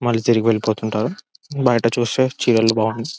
మల్లి తిరిగి వెళ్లిపోతుంటారు బయట చూస్తే చీరలు బాగు--